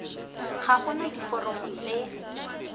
ga go na diforomo tse